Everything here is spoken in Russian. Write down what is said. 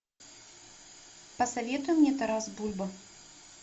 посоветуй мне тарас бульба